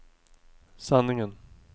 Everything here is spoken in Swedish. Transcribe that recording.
sanningen